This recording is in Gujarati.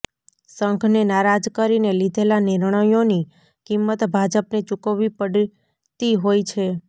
સંઘને નારાજ કરીને લીધેલાં નિર્ણયોની કિંમત ભાજપને ચુકવવી પડતી હોય છે